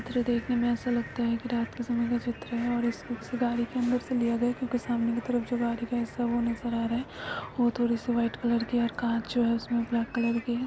चित्र देखने में ऐसा लगता है की रात का समय का चित्र है इसको गाड़ी की अदर से लिया गया है क्युकी सामने की तरफ जो गाड़ी जो हिस्सा है वो नज़र आ रहा है जो वाइट कलर की कार जो है उसमे ब्लैक कलर की--